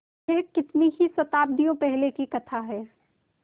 यह कितनी ही शताब्दियों पहले की कथा है